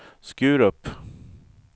Skurup